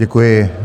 Děkuji.